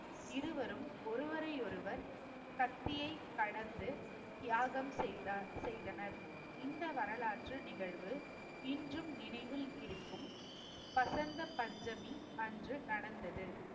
இருவரும் ஒருவரையொருவர் கத்தியை கடந்து, தியாகம் செய்த~ செய்தனர். இந்த வரலாற்று நிகழ்வு இன்றும் நினைவில் இருக்கும் வசந்த பஞ்சமி அன்று நடந்தது